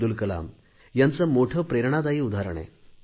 अब्दुल कलाम यांचे मोठे प्रेरणादायी उदाहरण आहे